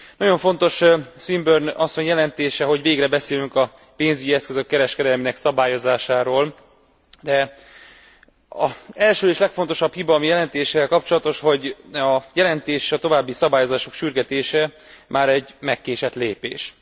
Nagyon fontos Swinburne asszony jelentése, hogy végre beszélünk a pénzügyi eszközök kereskedelmének szabályozásáról. Első és legfontosabb hiba, ami a jelentéssel kapcsolatos, hogy a jelentés, a további szabályozások sürgetése már egy megkésett lépes.